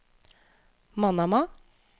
Manama